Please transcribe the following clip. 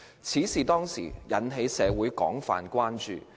此事當時引起社會廣泛關注。